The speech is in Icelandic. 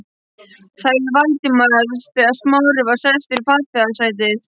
sagði Valdimar þegar Smári var sestur í farþegasætið.